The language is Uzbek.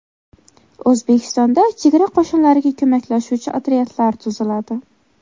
O‘zbekistonda chegara qo‘shinlariga ko‘maklashuvchi otryadlar tuziladi.